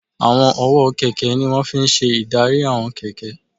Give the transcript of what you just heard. Àwọn ọwọ́ kẹ̀kẹ́ ní wọ́n fi n ṣe ìdarí àwọn kẹ̀kẹ́